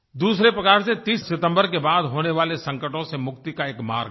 दूसरे प्रकार से 30 सितम्बर के बाद होने वाले संकटों से मुक्ति का एक मार्ग है